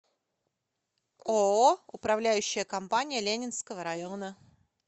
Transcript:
ооо управляющая компания ленинского района